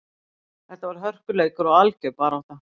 Þetta var hörkuleikur og algjör barátta.